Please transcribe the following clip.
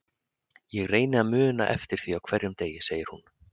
Ég reyni að muna eftir því á hverjum degi, segir hún.